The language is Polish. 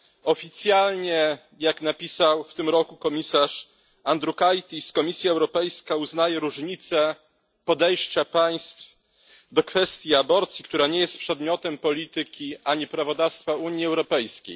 Oficjalnie, jak napisał w tym roku komisarz Andriukaitis, Komisja Europejska uznaje różnice podejścia państw do kwestii aborcji, która nie jest przedmiotem polityki ani prawodawstwa Unii Europejskiej.